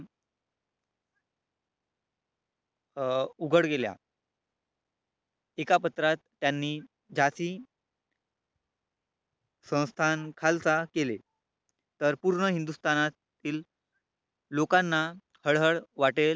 अं उघड गेल्या. एका पत्रात त्यांनी जाती संस्थान खालसा केले, तर पूर्ण हिंदुस्थानातील लोकांना हळहळ वाटेल